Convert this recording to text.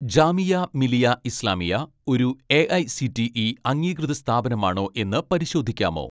ജാമിയ മിലിയ ഇസ്ലാമിയ ഒരു എ.ഐ.സി.ടി.ഇ അംഗീകൃത സ്ഥാപനമാണോ എന്ന് പരിശോധിക്കാമോ